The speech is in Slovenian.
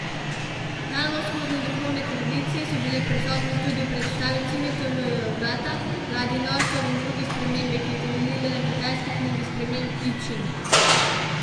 Daljnovzhodne duhovne tradicije so bile prisotne tudi v predstavi Cimetova vrata ladje norcev in druge spremembe, ki je temeljila na kitajski knjigi sprememb I Čing.